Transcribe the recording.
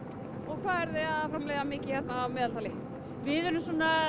hvað eruð þið að framleiða mikið hér að meðaltali við erum